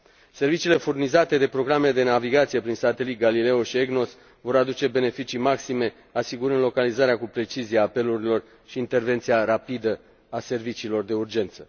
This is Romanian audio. Serviciile furnizate de programele de navigație prin satelit Galileo și EGNOS vor aduce beneficii maxime, asigurând localizarea cu precizie a apelurilor și intervenția rapidă a serviciilor de urgență.